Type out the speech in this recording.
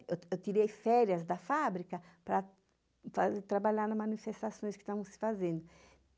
Eu tirei férias da fábrica para trabalhar nas manifestações que estavam se fazendo.